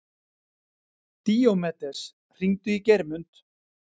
Díómedes, hringdu í Geirmund.